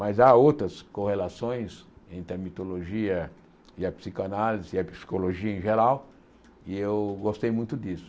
Mas há outras correlações entre a mitologia e a psicanálise, e a psicologia em geral, e eu gostei muito disso.